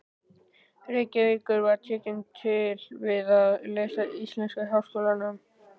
Reykjavíkur og tekin til við að lesa íslensku í Háskólanum.